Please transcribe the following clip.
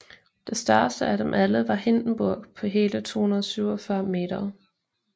Det største af dem alle var Hindenburg på hele 247 m